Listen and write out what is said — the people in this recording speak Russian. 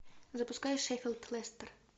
запускай шеффилд лестер